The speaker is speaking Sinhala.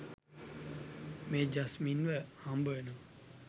මේ ජස්මින්ව හම්බවෙනවා.